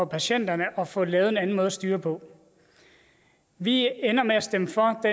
patienterne at få lavet en anden måde at styre på vi ender med at stemme for det